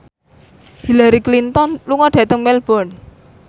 Hillary Clinton lunga dhateng Melbourne